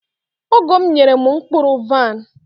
ọgọ m nyere m mkpụrụ vaịn..